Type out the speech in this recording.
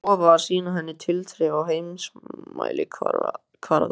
Hann hafði lofað að sýna henni tilþrif á heimsmælikvarða!